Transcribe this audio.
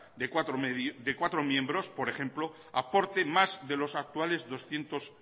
de cuatro miembros por ejemplo aporte más de los actuales doscientos